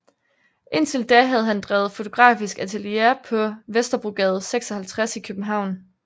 Indtil da havde han drevet fotografisk atelier på Vesterbrogade 56 i København